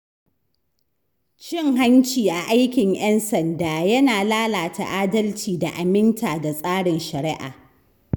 Cin hanci a aikin ‘yan sanda yana lalata adalci da aminta da tsarin shari’a.